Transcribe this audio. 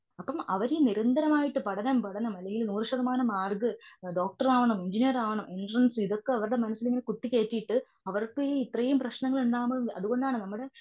അപ്പം അവരിൽ നിരന്തരമായിട്ടുള്ള പഠനം, പഠനം ഈ നൂറു ശതമാനം മാർക്ക്. ഡോക്ടർ ആവണം, എൻജിനീയർ ആവണം, എൻട്രനസ്സ് ഇതൊക്കെ അവരുടെ മനസ്സില് കുത്തിക്കേറ്റിട്ട് അവർക്ക് ഇത്രേം പ്രശ്നങ്ങൾ ഉണ്ടാവണത്.